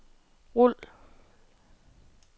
rul